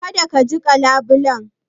Kada ka jiƙa labulen.